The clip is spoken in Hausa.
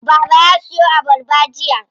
Baba ya siyo abarba jiya.